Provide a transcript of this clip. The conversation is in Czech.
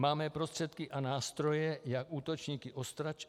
Máme prostředky a nástroje, jak útočníky odstrašit.